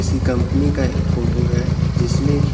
कीसी company का ये photo है जिसमे की--